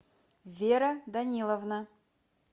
вера даниловна